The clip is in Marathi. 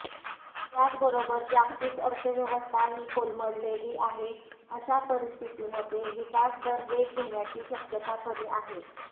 त्याचबरोबर जागतिक अर्थव्यवस्थाही कोलमडलेली आहे अशा परिस्थितीमध्ये विकासदर वेग घेण्याची शक्यता कमी आहे